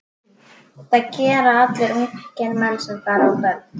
Það gera allir ungir menn sem fara á böll.